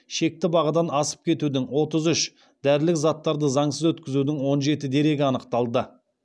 шекті бағадан асып кетудің отыз үш дәрілік заттарды заңсыз өткізудің он жеті дерегі анықталды